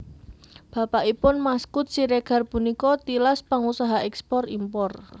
Bapakipun Maskud Siregar punika tilas pangusaha èkspor impor